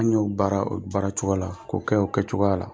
An y'o baara o baara cogoya la k'o kɛ o kɛcogoya la.